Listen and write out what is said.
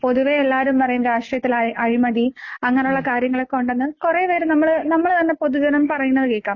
പൊതുവെ എല്ലാരും പറയും രാഷ്ട്രീയത്തില് അഴി അഴിമതി അങ്ങനുള്ള കാര്യങ്ങളൊക്കെ ഉണ്ടെന്ന് കൊറേ പേര് നമ്മള് നമ്മള് തന്നെ പൊതുജനം പറയുന്നത് കേക്കാം.